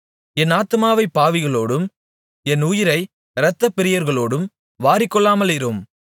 என் ஆத்துமாவைப் பாவிகளோடும் என் உயிரை இரத்தப்பிரியர்களோடும் வாரிக்கொள்ளாமலிரும்